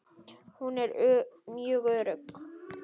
Hún er mjög örugg.